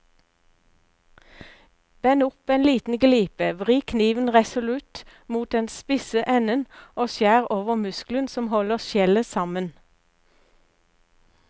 Bend opp en liten glipe, vri kniven resolutt mot den spisse enden og skjær over muskelen som holder skjellet sammen.